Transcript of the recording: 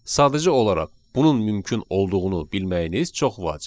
Sadəcə olaraq bunun mümkün olduğunu bilməyiniz çox vacibdir.